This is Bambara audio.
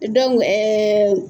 Dɔnku ɛɛ